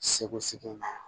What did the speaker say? Segu segu yen